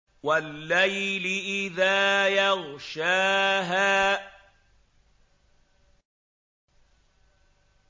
وَاللَّيْلِ إِذَا يَغْشَاهَا